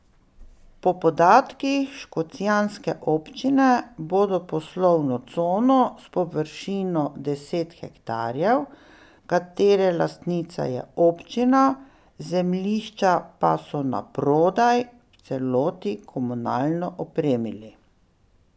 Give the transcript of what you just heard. Po podatkih škocjanske občine bodo poslovno cono s površino deset hektarjev, katere lastnica je občina, zemljišča pa so naprodaj, v celoti komunalno opremili.